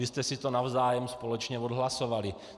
Vy jste si to navzájem společně odhlasovali.